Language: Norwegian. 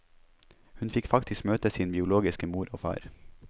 Hun fikk faktisk møte sin biologiske mor og far.